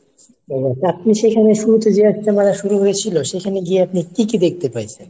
আপনি সেখানে শুরুতে যেয়ে ইজতেমা শুরু হয়েছিল সেখানে গিয়ে আপনি কী কী দেখতে পাইছেন?